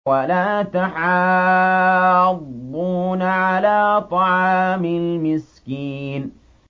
وَلَا تَحَاضُّونَ عَلَىٰ طَعَامِ الْمِسْكِينِ